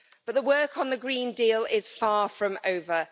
But the work on the green deal is far from over.